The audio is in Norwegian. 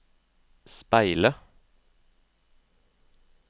speile